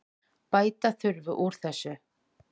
Bæta þurfi úr þessu.